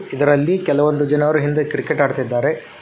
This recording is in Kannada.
ಇದರಲ್ಲಿ ಕೆಲವೊಂದು ಜನರು ಹಿಂದೆ ಕ್ರಿಕೆಟ್ ಆಡ್ತಿದ್ದಾರೆ.